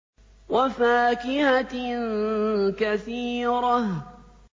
وَفَاكِهَةٍ كَثِيرَةٍ